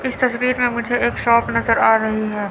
इस तस्वीर में मुझे एक शॉप नज़र आ रही है।